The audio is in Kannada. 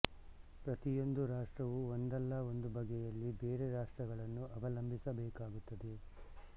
ಪ್ರತಿಯೊಂದು ರಾಷ್ಟ್ರವೂ ಒಂದಲ್ಲ ಒಂದು ಬಗೆಯಲ್ಲಿ ಬೇರೆ ರಾಷ್ಟ್ರಗಳನ್ನು ಅವಂಲಬಿಸಬೇಕಾಗುತ್ತದೆ